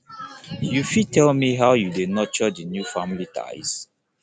you fit tell me how you dey nurture di new family ties